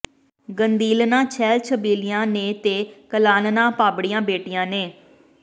ਗੰਧੀਲਨਾਂ ਛੈਲ ਛਬੀਲੀਆਂ ਨੇ ਤੇ ਕਲਾਲਨਾਂ ਭਾਬੜੀਆਂ ਬੇਟੀਆਂ ਨੇ